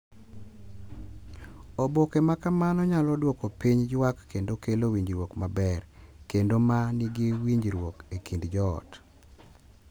Oboke ma kamano nyalo duoko piny ywak kendo kelo winjruok maber kendo ma nigi winjruok e kind joot.